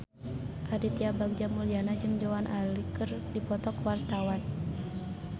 Aditya Bagja Mulyana jeung Joan Allen keur dipoto ku wartawan